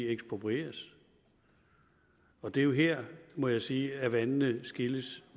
eksproprieres og det er jo her må jeg sige at vandene skiller